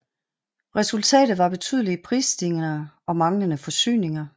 Resultatet var betydelige prisstigninger og manglende forsyninger